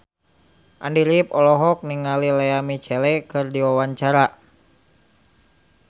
Andy rif olohok ningali Lea Michele keur diwawancara